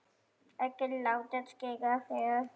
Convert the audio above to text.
Ekki láta skera þig upp!